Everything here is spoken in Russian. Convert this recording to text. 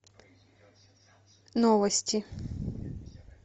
новости